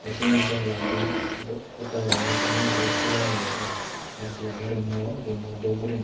tey sindi janala gun podda habor ani ekkana guri hulo age syot A_C agey roommo roommo dhub guriney.